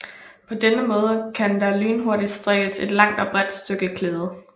På denne måde kan der lynhurtigt strikkes et langt og bredt stykke klæde